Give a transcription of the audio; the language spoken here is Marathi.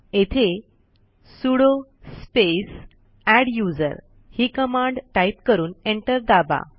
येथे सुडो स्पेस एड्युजर ही कमांड टाईप करून एंटर दाबा